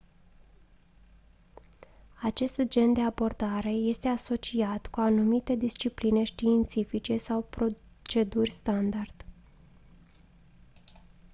acest gen de abordare este asociat cu anumite discipline științifice sau proceduri standard